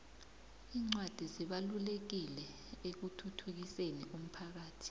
incwadi zibalulekile ekuthuthukiseni umphakhathi